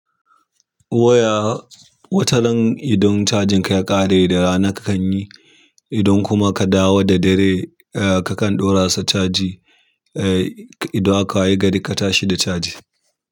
Waya wataran idan cajin ka ya kare da rana kakan yi, idan kuma ka dawo da dare kakan ɗora sa caji, eh idan aka wayi gari ka tashi da caji.